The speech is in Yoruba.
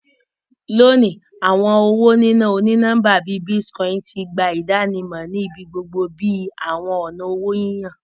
Loni, awọn owo nina oni-nọmba bii Bitcoin ti gba idanimọ ni ibigbogbo bi awọn ọna owo yiyan.